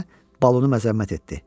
Bahiə balonu məzəmmət etdi.